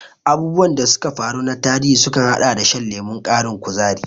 Abubuwan da suka faru na tarihi sukan haɗa da shan lemon ƙarin kuzari.